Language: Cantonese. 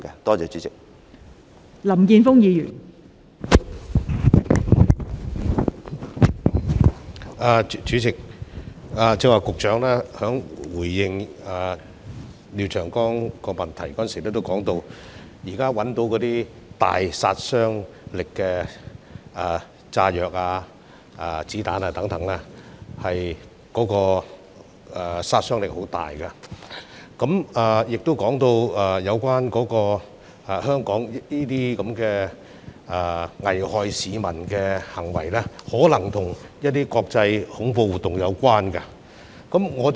代理主席，剛才局長在回應廖長江議員的主體質詢時提到，現時破獲的炸藥和子彈等均具有極大殺傷力，並提到這些危害香港市民的行為，可能與一些國際恐怖活動有關。